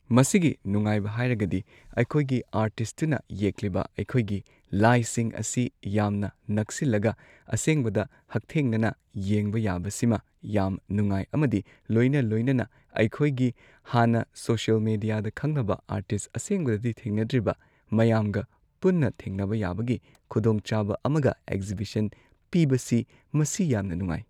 ꯃꯁꯤꯒꯤ ꯅꯨꯡꯉꯥꯏꯕ ꯍꯥꯏꯔꯒꯗꯤ ꯑꯩꯈꯣꯏꯒꯤ ꯑꯥꯔꯇꯤꯁꯇꯨꯅ ꯌꯦꯛꯂꯤꯕ ꯑꯩꯈꯣꯏꯒꯤ ꯂꯥꯏꯁꯤꯡ ꯑꯁꯤ ꯌꯥꯝꯅ ꯅꯛꯁꯤꯜꯂꯒ ꯑꯁꯦꯡꯕꯗ ꯍꯛꯊꯦꯡꯅꯅ ꯌꯦꯡꯕ ꯌꯥꯕ ꯁꯤꯃ ꯌꯥꯝ ꯅꯨꯡꯉꯥꯏ ꯑꯃꯗꯤ ꯂꯣꯏꯅ ꯂꯣꯏꯅꯅ ꯑꯩꯈꯣꯏꯒꯤ ꯍꯥꯟꯅ ꯁꯣꯁꯦꯜ ꯃꯤꯗ꯭ꯌꯥꯗ ꯈꯪꯅꯕ ꯑꯥꯔꯇꯤꯁ ꯑꯁꯦꯡꯕꯗꯗꯤ ꯊꯦꯡꯅꯗ꯭ꯔꯤꯕ ꯃꯌꯥꯝꯒ ꯄꯨꯟꯅ ꯊꯦꯡꯅꯕ ꯌꯥꯕꯒꯤ ꯈꯨꯗꯣꯡꯆꯥꯕ ꯑꯃꯒ ꯑꯦꯛꯖꯤꯕꯤꯁꯟ ꯄꯤꯕꯁꯤ ꯃꯁꯤ ꯌꯥꯝꯅ ꯅꯨꯡꯉꯥꯏ